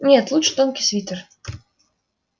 нет лучше тонкий свитер